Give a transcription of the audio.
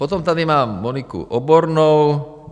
Potom tady mám Monikou Obornou.